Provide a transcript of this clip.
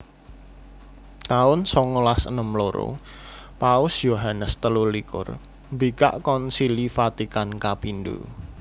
taun songolas enem loro Paus Yohanes telu likur mbikak Konsili Vatikan kapindho